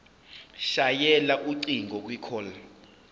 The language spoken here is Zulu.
shayela ucingo kwicall